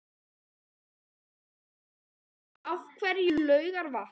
Magnús Hlynur Hreiðarsson: Af hverju Laugarvatn?